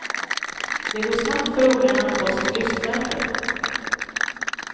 Det går snabbt för ungarna att få sitt lystmäte.